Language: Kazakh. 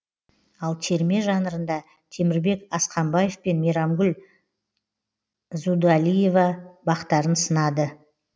ал терме жанрында темірбек асқамбаев пен мейрамгүл здуалиева бақтарын сынады